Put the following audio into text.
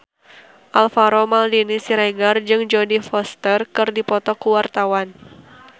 Alvaro Maldini Siregar jeung Jodie Foster keur dipoto ku wartawan